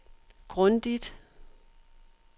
grundigt